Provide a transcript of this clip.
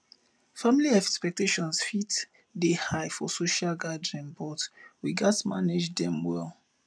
family expectations fit dey high for social gatherings but we gats manage dem well